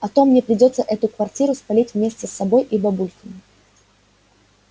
а то мне придётся эту квартиру спалить вместе с собой и бабульками